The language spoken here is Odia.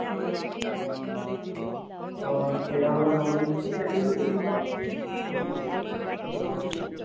ହଁ, ସେଇଟା ଗୋଟେ ଭଲ ଜିନିଷ ସେଠି କି ବି ଯିବା ବୁଲା ବୁଲି କରିବା ପାଇଁ